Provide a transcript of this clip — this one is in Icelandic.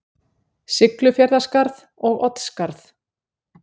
Siglufjarðarskarð og Oddsskarð.